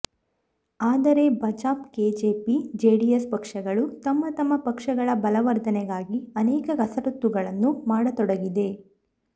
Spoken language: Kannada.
ಅದರೆ ಬಾಜಪ ಕೆಜೆಪಿ ಜೆಡಿಎಸ್ ಪಕ್ಷಗಳು ತಮ್ಮ ತಮ್ಮ ಪಕ್ಷಗಳ ಬಲವರ್ಧನೆಗಾಗಿ ಅನೇಕ ಕಸರತ್ತುಗಳನ್ನು ಮಾಡತೊಡಗಿದೆ